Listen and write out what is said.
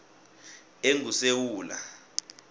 engusewula